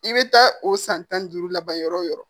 I bɛ taa o san tan ni duuru laban yɔrɔ o yɔrɔ